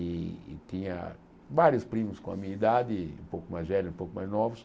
E tinha vários primos com a minha idade, um pouco mais velhos, um pouco mais novos.